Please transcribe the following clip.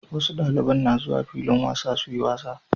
Wasu daliban na zuwa filin wasa suyi wasa